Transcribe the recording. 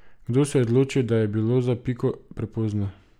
Kdo se je odločil, da je bilo za Piko prepozno?